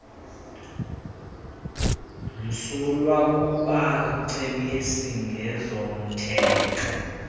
msulwa kubacebisi ngezomthetho